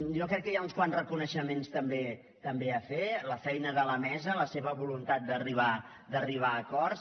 jo crec que hi ha uns quants reconeixements també a fer la feina de la mesa la seva voluntat d’arribar a acords